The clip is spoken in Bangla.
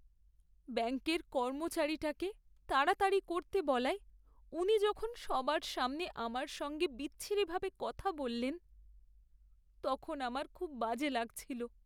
ব্যাঙ্কের কর্মচারীটাকে তাড়াতাড়ি করতে বলায় উনি যখন সবার সামনে আমার সঙ্গে বিচ্ছিরিভাবে কথা বললেন, তখন আমার খুব বাজে লাগছিলো।